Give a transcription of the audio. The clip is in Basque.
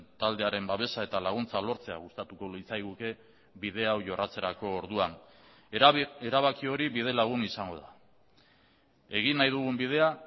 taldearen babesa eta laguntza lortzea gustatuko litzaiguke bide hau jorratzerako orduan erabaki hori bide lagun izango da egin nahi dugun bidea